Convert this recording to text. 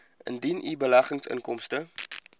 indien u beleggingsinkomste